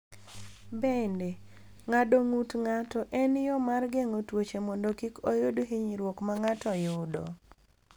Bende, ng’ado ng’ut ng’ato en yo mar geng’o tuoche mondo kik oyud hinyruok ma ng’ato yudo.